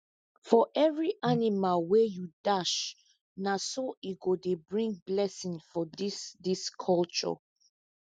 for every animal wey you dash na so e go dey bring blessing for this this culture